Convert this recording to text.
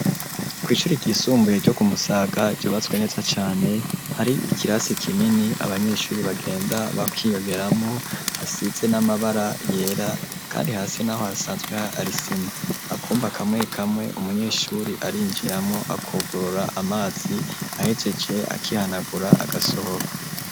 Kw'isuri ryisumbuye ryo kumusaga ryubatswe neza cane, hari ikirasi kinini abanyeshuri bagenda bakiyongeramwo, hasize n'amabara yera kandi hasi naho hasanzweho arisima ,akumba kamwe kamwe umunyeshuri arinjiramwo akugurura amazi ahegeje akihanagura agasohoka.